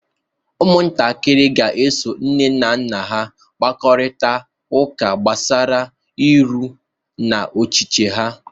Ụmụntakịrị ga-eso nne na nna ha kparịta ụka gbasara nrọ na ọchịchọ ha